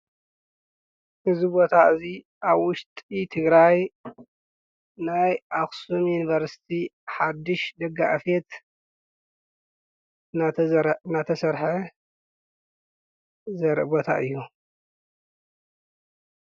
እዚ ቦታ እዙይ ኣብ ውሽጢ ትግራይ ናይ ኣክሱም ዩንቨርስቲ ሓድሽ ደጋ ኣፍየት ናተሰርሐ ዘርኢ ቦታ እዩ፡፡